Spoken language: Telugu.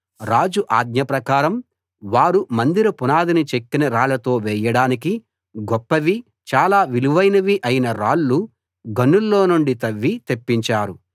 రాజు ఆజ్ఞ ప్రకారం వారు మందిర పునాదిని చెక్కిన రాళ్లతో వేయడానికి గొప్పవి చాలా విలువైనవి అయిన రాళ్ళు గనుల్లో నుండి తవ్వి తెప్పించారు